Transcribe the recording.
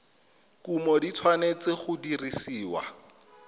kumo di tshwanetse go dirisiwa